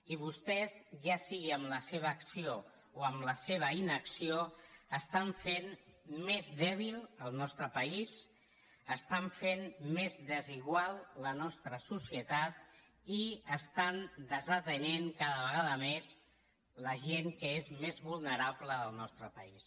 i vostès ja sigui amb la seva acció o amb la seva inacció estan fent més dèbil el nostre país estan fent més desigual la nostra societat i estan desatenent cada vegada més la gent que és més vulnerable del nostre país